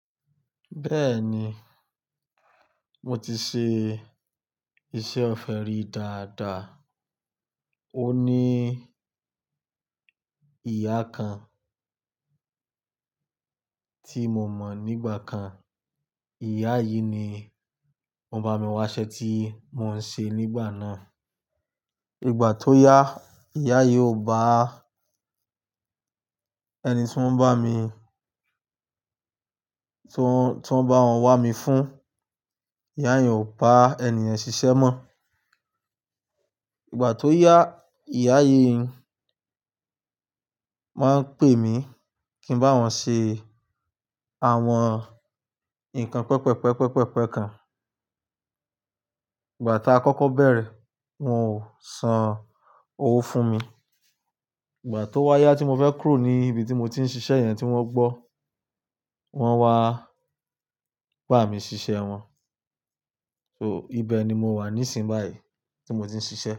Bẹ́ẹ̀ni, mo ti ṣe iṣẹ́ ọ̀fẹ́ rí dáadáa. Ó ní ìyá kan tí mo mọ̀ nígbà kan. Ìyá yìí ni wọ́n bá mi wá iṣẹ́ tí mò ń ṣe nígbà náà. Ìgbà tó yá, ìyá yìí ò bá ẹni tí wọ́n bá mi, tí wọ́n bá wọn wá mi fún. Ìyá yen ò bá ènìyàn ṣiṣẹ́ mọ́. Ìgbà tó yá, ìyá yìí máa ń pè mí kí ń bá wọn ṣe àwọn nǹkan pẹpẹpẹpẹpẹpẹ kan. Ìgbà tá kọ́kọ́ bẹ̀rẹ̀, wọn ò san owó fún mi. Ìgbà tó wáyé tí mo fẹ́ kúrò ní ibi tí mo ti ń ṣiṣẹ́ yẹn tí wọ́n gbọ́, wọ́n wá bá mi ṣiṣẹ́ wọn. So ibẹ̀ ni mo wà níìsín báyìí tí mo ti ń ṣiṣẹ́.